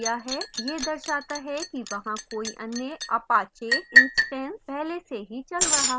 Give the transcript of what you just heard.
यह दर्शाता है कि वहाँ कोई अन्य apache instance पहले से ही चल रहा है